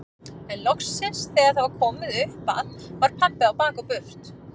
En loksins þegar það var komið upp að var pabbi á bak og burt.